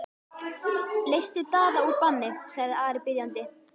Leystu Daða úr banni, sagði Ari biðjandi.